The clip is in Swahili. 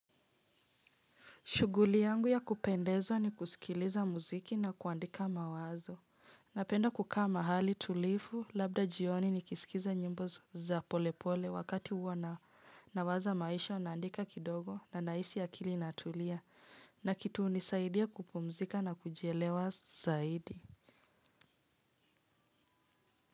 Shuguli yangu ya kupendezwa ni kusikiliza muziki na kuandika mawazo. Napenda kukaa mahali tulifu labda jioni ni kisikiza nyimbo za pole pole wakati huwa na nawaza maisha naandika kidogo na nahisi akili inatulia na kitu hunisaidia kupumzika na kujielewa zaidi.